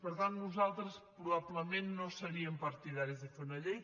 per tant nosaltres probablement no seríem partidaris de fer una llei